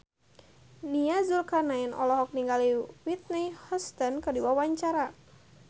Nia Zulkarnaen olohok ningali Whitney Houston keur diwawancara